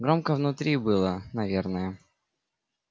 громко внутри было наверное